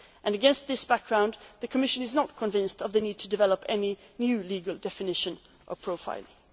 or her. Against this background, the Commission is not convinced of the need to develop any new legal definition of